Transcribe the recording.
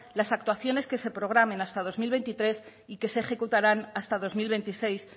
las actuaciones que se programen hasta dos mil veintitrés y que se ejecutarán hasta dos mil veintiséis